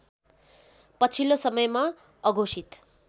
पछिल्लो समयमा अघोषित